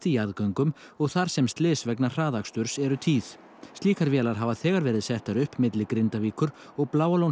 jarðgöngum og þar sem slys vegna hraðaksturs eru tíð slíkar vélar hafa þegar verið settar upp milli Grindavíkur og